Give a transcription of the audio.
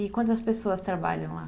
E quantas pessoas trabalham lá?